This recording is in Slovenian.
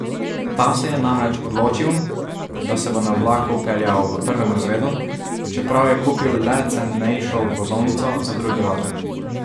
Ta se je namreč odločil, da se bo na vlaku peljal v prvem razredu, čeprav je kupil le cenejšo vozovnico za drugi razred.